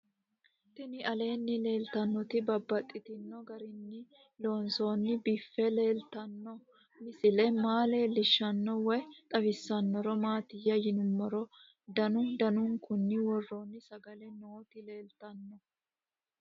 Tinni aleenni leelittannotti babaxxittinno garinni loonseenna biiffe leelittanno misile maa leelishshanno woy xawisannori maattiya yinummoro danu danunkunni woroonni sagale nootti leelittanno